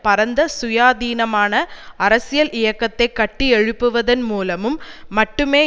பரந்த சுயாதீனமான அரசியல் இயக்கத்தை கட்டியெழுப்புவதன் மூலமும் மட்டுமே